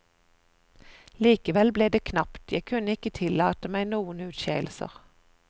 Likevel ble det knapt, jeg kunne ikke tillate meg noen utskeielser.